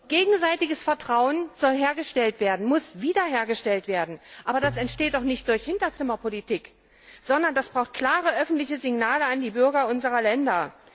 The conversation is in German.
Gegenseitiges Vertrauen soll hergestellt werden, muss wiederhergestellt werden. Aber das entsteht doch nicht durch Hinterzimmerpolitik, sondern das braucht klare öffentliche Signale an die Bürger unserer Länder!